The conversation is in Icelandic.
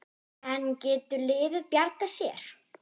En getur liðið bjargað sér?